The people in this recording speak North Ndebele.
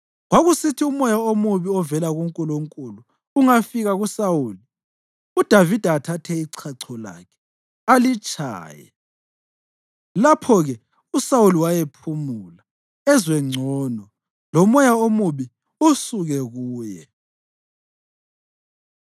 Kwakusithi umoya omubi ovela kuNkulunkulu ungafika kuSawuli, uDavida athathe ichacho lakhe alitshaye. Lapho-ke uSawuli wayephumula; ezwe ngcono, lomoya omubi usuke kuye.